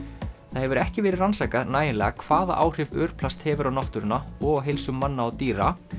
það hefur ekki verið rannsakað nægilega hvaða áhrif örplast hefur á náttúruna og á heilsu manna og dýra